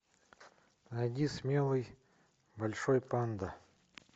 найди смелый большой панда